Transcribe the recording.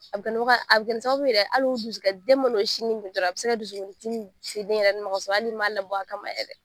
A bɛ ni a bɛ kɛ ni sababu yɛrɛ hali dusu den sini min dɔrɔn a bɛ se ka dusukundimi se den yɛrɛ ma kasɔrɔ hali i m'a labɔ a kama yɛrɛ